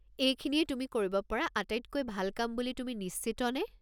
এইখিনিয়েই তুমি কৰিব পৰা আটাইতকৈ ভাল কাম বুলি তুমি নিশ্চিত নে?